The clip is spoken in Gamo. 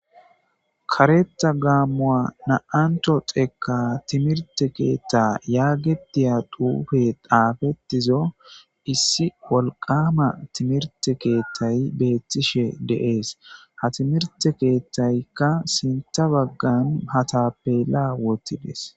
kareta gaammu7a na7anto xeeka timirte keetta yaagetiya duufe daafettizo issi wolqama timirte keethtay beettishe de7ees ha timirte keethtaykka sinta baggan hatapela wottides